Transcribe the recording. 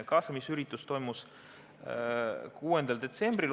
Kaasamisüritus toimus 6. detsembril.